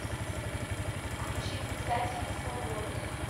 включи писатели свободы